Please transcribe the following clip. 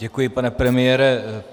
Děkuji, pane premiére.